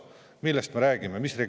Millest me räägime!?